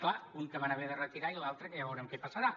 clar un que van haver de retirar i l’altre que ja veurem què passarà